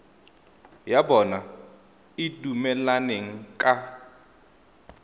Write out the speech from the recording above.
ya bona e dumelaneng ka